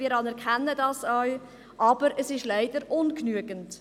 Wir anerkennen das auch, aber es ist leider ungenügend.